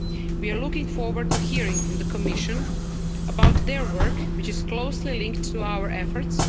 We are looking forward to hearing from the Commission about their work, which is closely linked to our efforts.